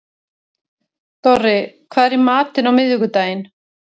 Dorri, hvað er í matinn á miðvikudaginn?